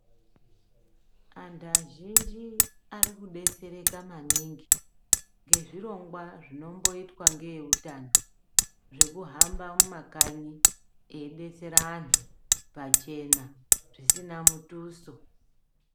Antu arikudetsereka maningi ngezvirongwa zvinomboitwa ngeeutano zvekuhamba mumakanyi eidetsera antu pachena ,zvisina mutuso.